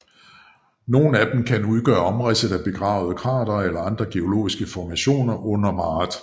Nogle af dem kan udgøre omridset af begravede kratere eller andre geologiske formationer under maret